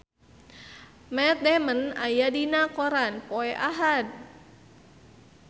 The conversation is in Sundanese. Matt Damon aya dina koran poe Ahad